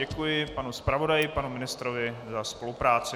Děkuji panu zpravodaji, panu ministrovi za spolupráci.